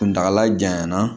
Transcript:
Kuntagala janyana